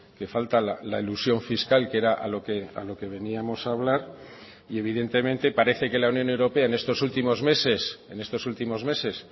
que falta la elusión fiscal que era a lo que veníamos a hablar y evidentemente parece que la unión europea en estos últimos meses en estos últimos meses